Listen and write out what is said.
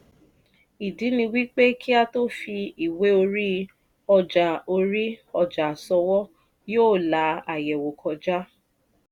ìdí ni wípé kí a tó fí ìwé orí ọjà orí ọjà ṣòwò yóò la àyẹ̀wò kọjá.